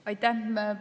Aitäh!